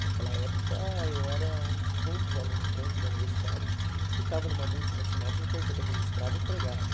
Naquela época, eu era um dos poucos alunos dentro da universidade que estava numa multinacional com carteira registrada, empregado.